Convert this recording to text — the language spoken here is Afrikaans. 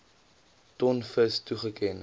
ton vis toegeken